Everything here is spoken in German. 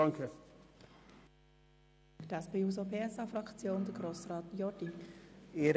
Für die SP-JUSO-PSA-Fraktion hat Grossrat Jordi das Wort.